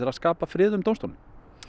að skapa frið um dómstólinn